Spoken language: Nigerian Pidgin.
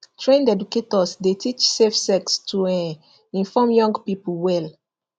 trained educators dey teach safe sex to um inform young people well